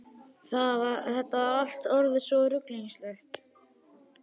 Þetta var allt orðið svo ruglingslegt.